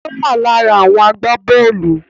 Ó wà lára àwọn agbábọ́ọ̀lù